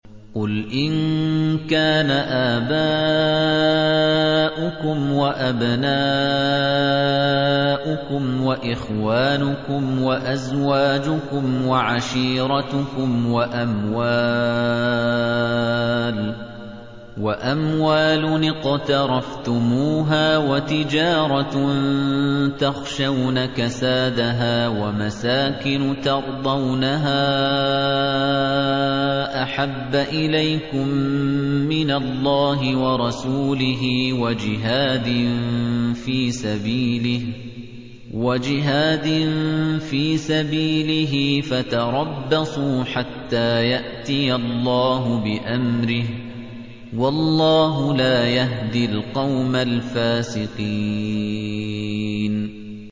قُلْ إِن كَانَ آبَاؤُكُمْ وَأَبْنَاؤُكُمْ وَإِخْوَانُكُمْ وَأَزْوَاجُكُمْ وَعَشِيرَتُكُمْ وَأَمْوَالٌ اقْتَرَفْتُمُوهَا وَتِجَارَةٌ تَخْشَوْنَ كَسَادَهَا وَمَسَاكِنُ تَرْضَوْنَهَا أَحَبَّ إِلَيْكُم مِّنَ اللَّهِ وَرَسُولِهِ وَجِهَادٍ فِي سَبِيلِهِ فَتَرَبَّصُوا حَتَّىٰ يَأْتِيَ اللَّهُ بِأَمْرِهِ ۗ وَاللَّهُ لَا يَهْدِي الْقَوْمَ الْفَاسِقِينَ